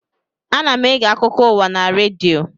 Ana m ege akụkọ ụwa na redio